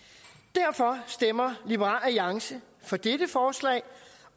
derfor stemmer liberal alliance for dette forslag